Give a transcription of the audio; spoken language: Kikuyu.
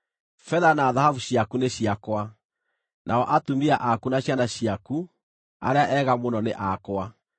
‘Betha na thahabu ciaku nĩ ciakwa, nao atumia aku na ciana ciaku, arĩa ega mũno, nĩ akwa.’ ”